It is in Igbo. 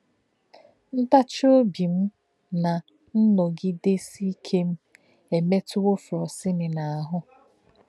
Ntáchì òbí m na nnọgìdesì íké m emetùwo Frosini n’ahụ́.